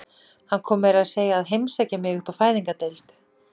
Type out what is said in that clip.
Hann kom meira að segja að heimsækja mig upp á Fæðingardeild.